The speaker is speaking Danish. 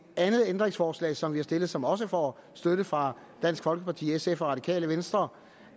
andet ændringsforslag som vi har stillet og som også får støtte fra dansk folkeparti sf og det radikale venstre